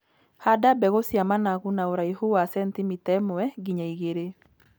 Handa mbegũ cia managu na ũraihu wa cenitimita ĩmwe nginya igĩrĩ.